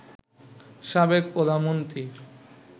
সাবেক প্রধানমন্ত্রী